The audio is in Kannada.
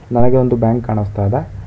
ನನಗೆ ಒಂದು ಬ್ಯಾಂಕ್ ಕಾಣಸ್ತಾ ಇದೆ.